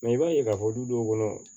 i b'a ye k'a fɔ du dɔw kɔnɔ